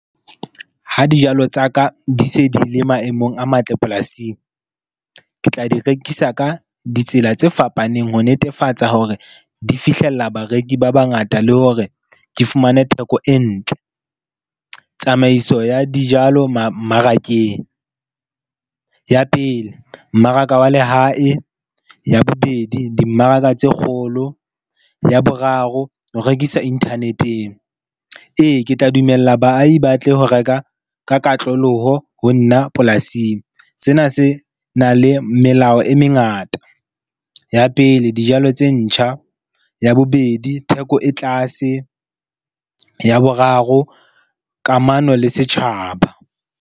Ha dijalo tsa ka di se di le maemong a matle polasing, ke tla di rekisa ka ditsela tse fapaneng ho netefatsa hore di fihlella bareki ba bangata. Le hore ke fumane theko e ntle. Tsamaiso ya dijalo mmarakeng. Ya pele, mmaraka wa lehae. Ya bobedi, dimmaraka tse kgolo. Ya boraro, ho rekisa internet-eng. Ee, ke tla dumella baahi ba tle ho reka ka katloloho ho nna polasing. Sena se na le melao e mengata. Ya pele, dijalo tse ntjha. Ya bobedi, theko e tlase. Ya boraro, kamano le setjhaba.